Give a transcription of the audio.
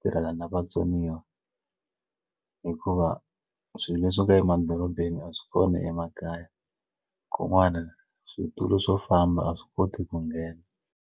tirhela na vatsoniwa hikuva swilo leswo ka emadorobeni a swi kona emakaya kun'wana switulu swo famba a swi koti ku nghena.